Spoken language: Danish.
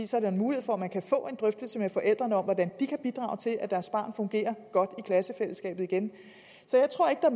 så mulighed for at man kan få en drøftelse med forældrene om hvordan de kan bidrage til at deres barn fungerer godt i klassefællesskabet igen så jeg tror ikke der